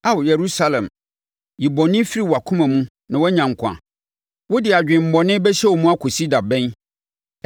Ao, Yerusalem, yi bɔne firi wʼakoma mu na woanya nkwa. Wode adwemmɔne bɛhyɛ wo mu akɔsi da bɛn?